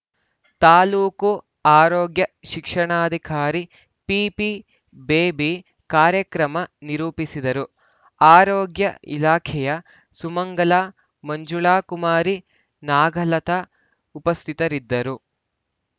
ತಾಲೂಕು ಆರೋಗ್ಯ ಶಿಕ್ಷಣಾಧಿಕಾರಿ ಪಿಪಿ ಬೇಬಿ ಕಾರ್ಯಕ್ರಮ ನಿರೂಪಿಸಿದರು ಆರೋಗ್ಯ ಇಲಾಖೆಯ ಸುಮಂಗಲ ಮಂಜುಳಾ ಕುಮಾರಿ ನಾಗಲತಾ ಉಪಸ್ಥಿತರಿದ್ದರು